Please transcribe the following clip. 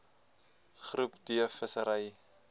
groep d vissery